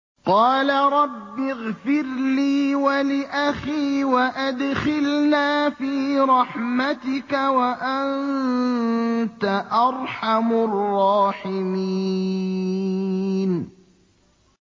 قَالَ رَبِّ اغْفِرْ لِي وَلِأَخِي وَأَدْخِلْنَا فِي رَحْمَتِكَ ۖ وَأَنتَ أَرْحَمُ الرَّاحِمِينَ